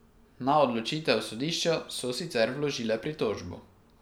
Na odločitev sodišča so sicer vložile pritožbo.